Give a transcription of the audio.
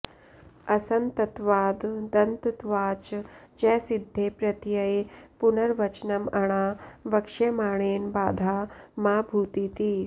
असन्तत्वाददन्तत्वाच् च सिद्धे प्रत्यये पुनर् वचनम् अणा वक्ष्यमाणेन बाधा मा भूतिति